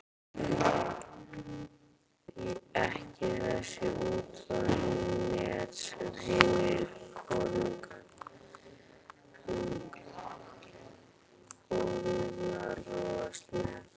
Ekki þessi úttroðnu net sem hinar konurnar rogast með.